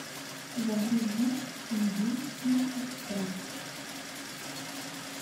загрузи чунгинский экспресс